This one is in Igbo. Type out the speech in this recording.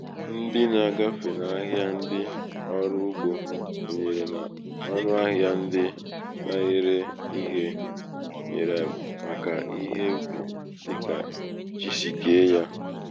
um ndi na-agafe n’ahịa ndị ọrụ ugbō kwènyèrè n’ọnụ ahịā ndị na-ere um ihē nyèrè màkà ihe ubì dị kà chi sì ke yā